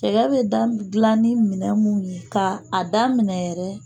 Cɛgɛ bɛ dila ni minɛ minnu ye k'a daminɛ yɛrɛ